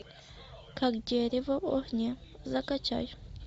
как дерево в огне закачай